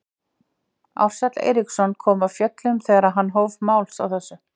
Ársæll Eiríksson kom af fjöllum þegar hann hóf máls á þessu.